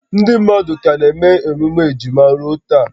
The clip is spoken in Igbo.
Ndị mmadụ ka na-eme emume ejima ruo taa